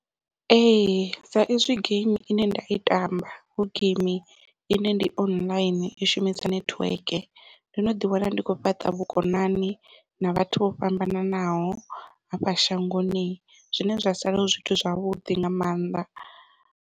Ee sa izwi geimi ine nda i tamba hu geimi ine ndi online i shumisa nethiweke ndo no ḓi wana ndi kho fhaṱa vhukonani na vhathu vho fhambananaho hafha shangoni zwine zwa sala hu zwithu zwavhuḓi nga maanḓa.